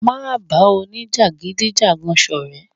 Má ba òní-jagidijagan sọrẹ.